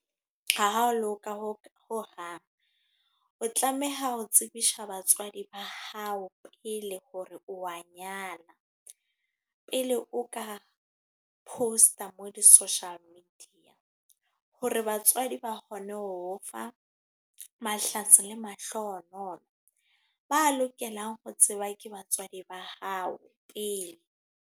Ha ha loka ho ho hang. O tlameha ho tsebisa batswadi ba hao pele, hore o wa nyala. Pele o ka post-a mo ho di-social media. Hore batswadi ba kgone ho o fa mahlatsi le mahlohonolo. Ba lokelang ho tseba ke batswadi ba hao pele.